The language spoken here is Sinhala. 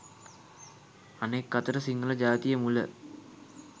අනෙක් අතට සිංහල ජාතිය මුල